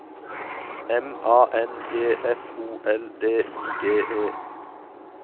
M A N G F O L D I G E